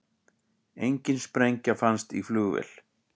Engin sprengja fannst í flugvél